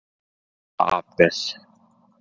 Abel